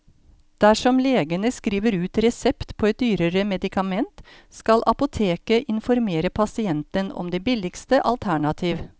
Dersom legen skriver ut resept på et dyrere medikament, skal apoteket informere pasienten om det billigste alternativ.